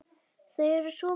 Þau eru svo mörg.